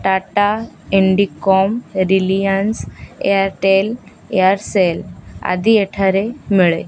ଟାଟା ଇଣ୍ଡିକମ୍ ରିଲିୟାନ୍ସ ଏୟାରଟେଲ୍ ଏୟାର୍ସେଲ ଆଦି ଏଠାରେ ମିଳେ।